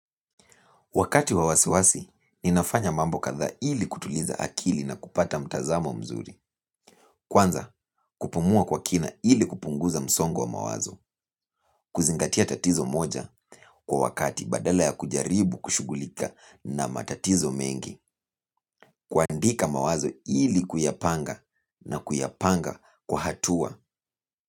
Wakati wa wasiwasi, ninafanya mambo kadhaa ili kutuliza akili na kupata mtazamo mzuri. Kwanza, kupumua kwa kina ili kupunguza msongo wa mawazo. Kuzingatia tatizo moja kwa wakati badala ya kujaribu kushughulika na matatizo mengi. Kuandika mawazo ili kuyapanga na kuyapanga kwa hatua.